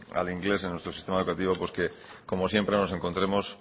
al inglés en nuestro sistema educativo pues como siempre nos encontremos